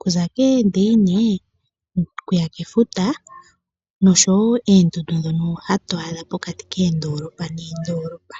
kuza koondeine, kuya kefuta noshowo oondundu ndhono hatu adha pokati koondolopa noondolopa.